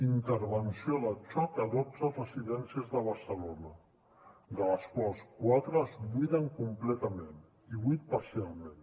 intervenció de xoc a dotze residències de barcelona d’entre les quals quatre es buiden completament i vuit parcialment